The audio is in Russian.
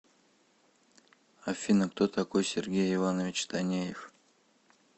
афина кто такой сергей иванович танеев